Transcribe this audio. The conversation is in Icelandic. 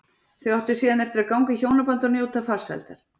Þau áttu síðar eftir að ganga í hjónaband og njóta farsældar.